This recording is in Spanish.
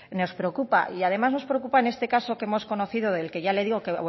nos preocupa y además nos preocupa en este caso que hemos conocido del que ya le digo